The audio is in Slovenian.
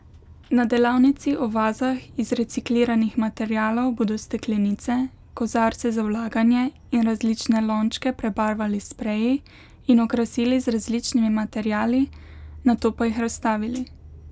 Na delavnici o vazah iz recikliranih materialov bodo steklenice, kozarce za vlaganje in različne lončke prebarvali s spreji in okrasili z različnimi materiali, nato pa jih razstavili.